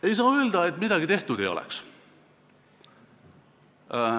Ei saa öelda, et midagi tehtud ei oleks.